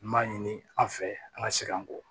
N b'a ɲini an fɛ an ŋa segin an kɔ